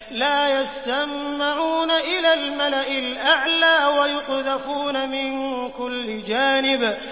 لَّا يَسَّمَّعُونَ إِلَى الْمَلَإِ الْأَعْلَىٰ وَيُقْذَفُونَ مِن كُلِّ جَانِبٍ